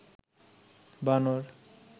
বানর